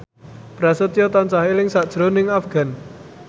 Prasetyo tansah eling sakjroning Afgan